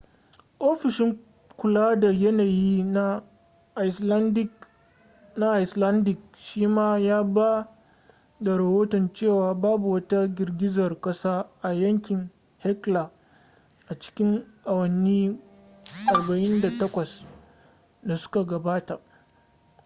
ofishin kula da yanayi na icelandic shima ya ba da rahoton cewa babu wata girgizar kasa a yankin hekla a cikin awanni 48 da suka gabata